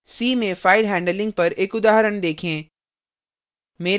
c में file handling पर एक उदाहरण देखें